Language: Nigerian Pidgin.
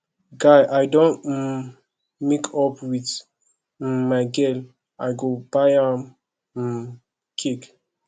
guy i don um make up wit um my girl i buy am um cake